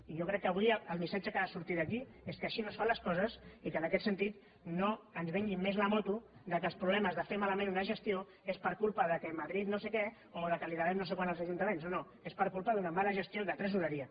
i jo crec que avui el missatge que ha de sortir d’aquí és que així no es fan les coses i que en aquest sentit no ens venguin més la moto que els problemes de fer malament una gestió és per culpa que madrid no sé què o que devem no sé quant als ajuntaments no no és per culpa d’una mala gestió de tresoreria